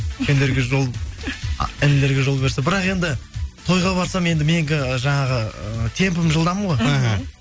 інілерге жол берсе бірақ енді тойға барсам енді менікі жаңағы ы темпім жылдам ғой іхі